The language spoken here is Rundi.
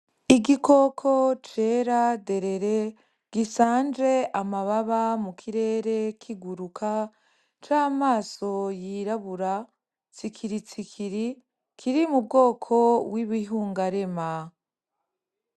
Igikoko cera derere gisanje amababa mu kirere kiguruka c’amaso yirabura tsikiritsikiri kiri mu kuri mu bwoko bw’ibihungarema.